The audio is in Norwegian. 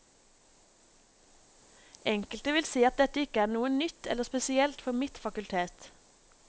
Enkelte vil si at dette ikke er noe nytt eller spesielt for mitt fakultet.